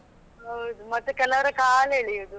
ಹೌದು ಮತ್ತೆ ಕೆಲವರ ಕಾಲೆಳೆಯುವುದು.